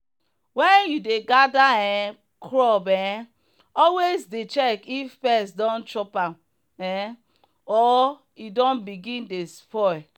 when you dey gather um crop um always dey check if pest don chop am um or e don begin dey spoil.